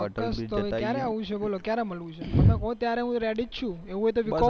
ક્યાં આવવું છે બોલો તમે કો ત્યારે હું રેડી જ્ છુ